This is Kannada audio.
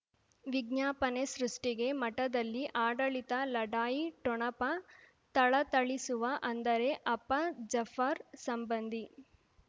ವಿಜ್ಞಾಪನೆ ಸೃಷ್ಟಿಗೆ ಮಠದಲ್ಲಿ ಆಡಳಿತ ಲಢಾಯಿ ಠೊಣಪ ಥಳಥಳಿಸುವ ಅಂದರೆ ಅಪ್ಪ ಜಫರ್ ಸಂಬಂಧಿ